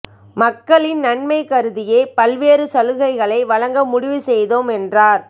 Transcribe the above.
மக்களின் நன்மை கருதியே பல்வேறு சலுகைகளை வழங்க முடிவு செய்தோம் என்றார்